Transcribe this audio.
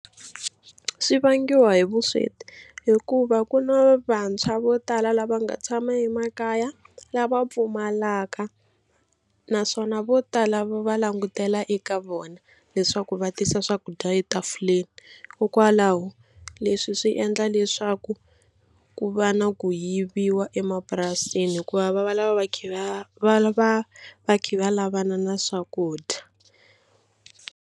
Swi vangiwa hi vusweti hikuva ku na vantshwa vo tala lava nga tshama emakaya lava pfumalaka naswona vo tala va va langutela eka vona leswaku va tisa swakudya etafuleni hikwalaho leswi swi endla leswaku ku va na ku yiviwa emapurasini hikuva va va lava va kha va va va kha va lavana na swakudya.